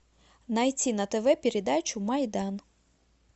найти на тв передачу майдан